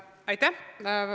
Aitäh!